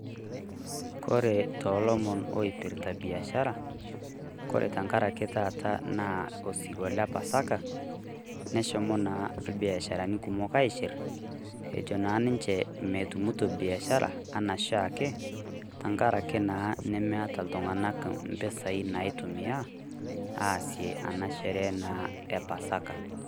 Kore too lomon lorpita biashara, kore tengaraki taata naa osirua le pasaka neshomo ilbiashara kumok aishir ejo naa ninche metumito biashara enaa ooshiake tengaraki naa nemeeta iltung'anak impisai naagira aitumiya aasiyie naa ena sherehe e pasaka.